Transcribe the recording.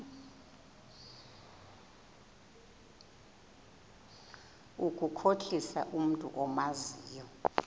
ukukhohlisa umntu omazi